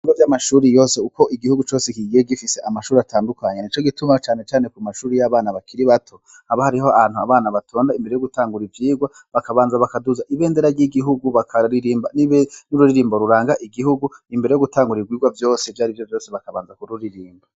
Ibre vy'amashuri yose uko igihugu cose kigiye gifise amashuri atandukanya ni co gituma canecane ku mashuri y'abana bakiri bato aba hariho ahantu abana batonda imbere yo gutangura ivyirwa bakabanza bakaduza ibendera ry'igihugu bakaririmba ni be n'ururirimbo ruranga igihugu imbere yo gutangura irwirwa vyose vy'ari yo vyose bakabanza kururirimba.